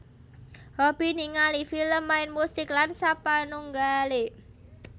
Hobi Ningali Film main musik lan sapanunggale